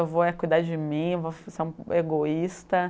Eu vou é cuidar de mim, vou ser egoísta.